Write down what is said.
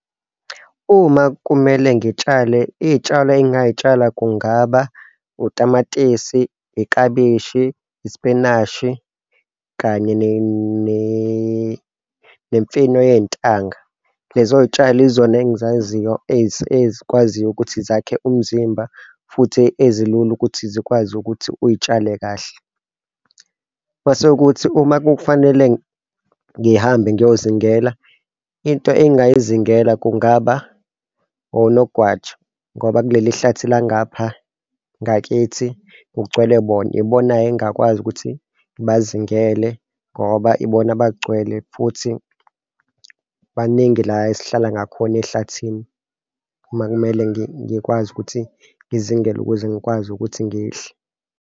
Uma kumele ngitshale, iy'tshalo engingay'tshala, kungaba utamatisi, Iklabeshi, ispinashi kanye nemfino yey'ntanga. Lezo y'tshalo izona engizaziyo ezikwaziyo ukuthi zakhe umzimba futhi ezilula ukuthi zikwazi ukuthi uy'tshale kahle. Mase kuthi uma kufanele ngihambe ngiyozithengela into engingayizingela kungaba onogwaja ngoba kuleli hlathe la ngapha ngakithi kugcwele bona, ibona-ke engakwazi ukuthi ngibazithengele ngoba ibona abagcwele futhi baningi la esihlala ngakhona ehlathini, uma kumele ngikwazi ukuthi ngizingele ukuze ngikwazi ukuthi ngidle.